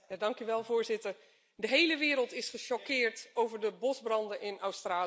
Voorzitter, de hele wereld is gechoqueerd door de bosbranden in Australië.